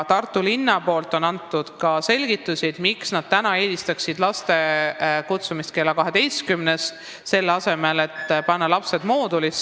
Tartu linn on andnud selgitusi, miks nad eelistaksid lapsi kutsuda kooli kella kaheteistkümneks, selle asemel et panna lapsed õppima moodulklassi.